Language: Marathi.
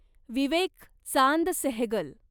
विवेक चांद सेहगल